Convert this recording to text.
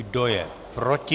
Kdo je proti?